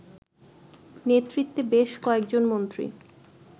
নেতৃত্বে বেশ কয়েকজন মন্ত্রী